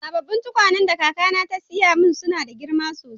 Sabobin tukwane da kaka na te siya suna da girma sosai.